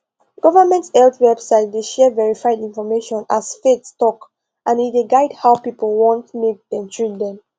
government health website dey share verified information as faith talk and e dey guide how people want make dem treat dem